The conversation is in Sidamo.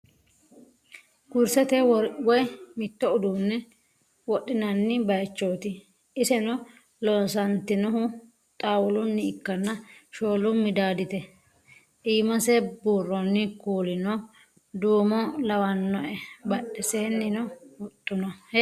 Kurisette woyi mito udune wodhinanni bayichotti isenno loosanitinohu xaawuluni ikkana shoolu middaditte iimase buuronni kuulino duumo lawanoe badhesenino huxxu noo